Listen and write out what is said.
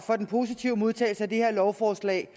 for den positive modtagelse af det her lovforslag